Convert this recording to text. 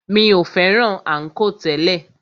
Mi o fẹ́ràn ànkò tẹ́lẹ̀.